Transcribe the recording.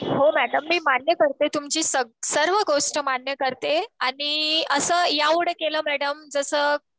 हो मॅडम मी मान्य करते. तुमची सर्व गोष्ट मान्य करते. आणि असं या उलट केलं मॅडम जसं